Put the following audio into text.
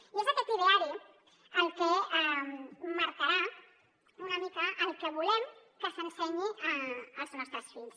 i és aquest ideari el que marcarà una mica el que volem que s’ensenyi als nos·tres fills